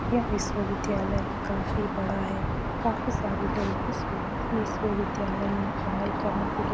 यह विश्वविद्यालय काफी बड़ा है काफी सारे लोग इस विश्वविद्यालय में पढ़ाई करने के लिए --